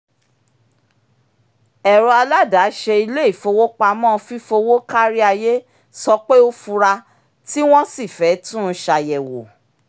ẹ̀rọ aládàáṣe ilé-ifowopamọ́ fi fífowó kari ayé sọ pé ó fura tí wọ́n sì fẹ́ tún un ṣàyẹ̀wò